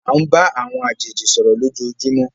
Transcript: À ń bá àwọn àjèjì sọ̀rọ̀ lójoojúmó.